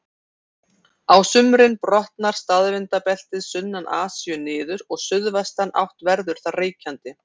Á sumrin brotnar staðvindabeltið sunnan Asíu niður og suðvestanátt verður þar ríkjandi.